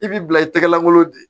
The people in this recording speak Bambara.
I b'i bila i tɛgɛlankolon de